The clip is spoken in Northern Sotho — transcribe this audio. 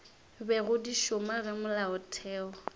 bego di šoma ge molaotheo